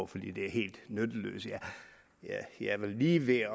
fordi de er helt nytteløse jeg var lige ved